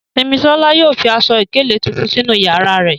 Simisola yóò fi aṣọ-ìkéle tuntun sinu yara rẹ